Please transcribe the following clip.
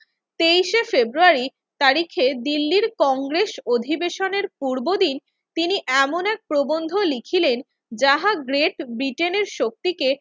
তেইশে ফেব্রুয়ারী তারিখে দিল্লির কংগ্রেস অধিবেশনের পূর্বদিন তিনি এমন এক প্রবন্ধ লিখিলেন যাহা গ্রেট ব্রিটেনের শক্তিকে